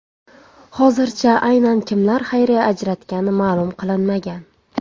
Hozircha aynan kimlar xayriya ajratgani ma’lum qilinmagan.